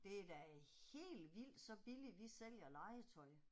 Det er da helt vildt så billigt vi sælger legetøj